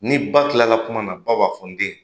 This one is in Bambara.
Ni ba tilala kuma na, ba b'a fɔ n den,